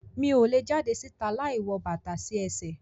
Mi o le jade si'ta láì wọ bàtà sí ẹsẹ